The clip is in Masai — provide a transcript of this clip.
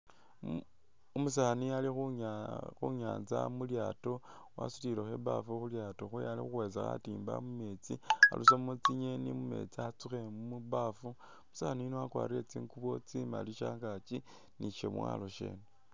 Umusaani ali khunya.. khunyanza mulyaato wasutilekho i'baafu khulyaato khwewe ali khukhwesa khatimba mumeetsi arusemo tsingeni mumeetsi a'tsukhe mu baafu umusaani yuno wakwalire tsingubo tsimali shangaki bi shamwalo shene